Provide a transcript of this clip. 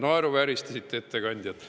Naeruvääristasite ettekandjat.